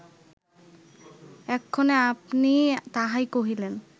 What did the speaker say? এক্ষণে আপনি তাহাই কহিলেন